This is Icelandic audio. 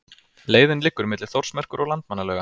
Leiðin liggur milli Þórsmerkur og Landmannalauga.